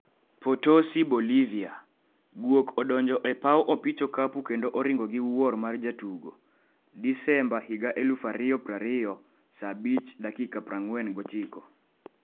Potosi Bolivia: Gwok odonjo e paw opich okapu kendo oringo gi wuoch mar jatugo, Saa 0.3427 Disemba 2020 saa 23:49 Video